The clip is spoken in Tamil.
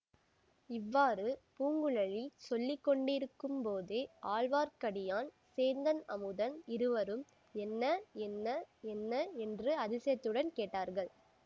இவ்வாறு பூங்குழலி சொல்லி கொண்டிருக்கும்போதே ஆழ்வார்க்கடியான் சேந்தன் அமுதன் இருவரும் என்ன என்ன என்ன என்று அதிசயத்துடன் கேட்டார்கள்